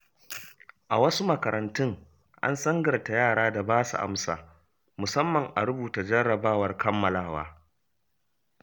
A wasu makarantun an sangarta yara da basu amsa, musamman a rubuta jarrabawar kammalawa.